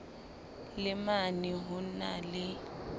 le mane ho na le